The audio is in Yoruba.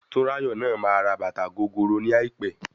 Tunrayo náà máa ra bàtà gogoro ní àìpẹ́.